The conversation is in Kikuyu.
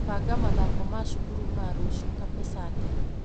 Banga mathako ma cukuru ma rũciũ Kapesatĩ.